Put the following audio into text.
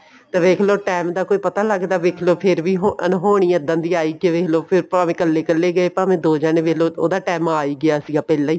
ਤੇ ਵੇਖ੍ਲੋ time ਦਾ ਕੋਈ ਪਤਾ ਲੱਗਦਾ ਵੇਖ੍ਲੋ ਫ਼ੇਰ ਵੀ ਅਨਹੋਣੀ ਇੱਦਾਂ ਦੀ ਆਈ ਤੇ ਫ਼ੇਰ ਦੇਖਲੋ ਭਾਵੇਂ ਕੱਲੇ ਕੱਲੇ ਗਏ ਭਾਵੇਂ ਦੋ ਜਾਣੇ ਦੇਖਲੋ ਉਹਦਾ time ਆ ਹੀ ਗਿਆ ਸੀ ਪਹਿਲਾਂ ਹੀ